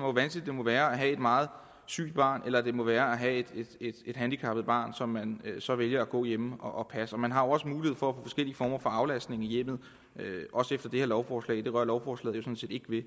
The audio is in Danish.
hvor vanskeligt det må være at have et meget sygt barn eller hvor vanskeligt det må være at have et handicappet barn som man så vælger at gå hjemme og passe man har jo også mulighed for forskellige former for aflastning i hjemmet også efter det her lovforslag det rører lovforslaget jo sådan set ikke ved